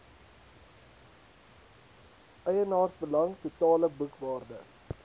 eienaarsbelang totale boekwaarde